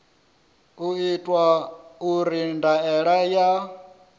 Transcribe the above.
u itwa uri ndaela ya